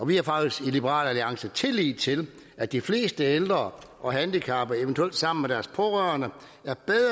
vi har faktisk i liberal alliance tillid til at de fleste ældre og handicappede eventuelt sammen med deres pårørende